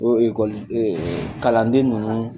O ekoli ɛɛ Kalanden ninnu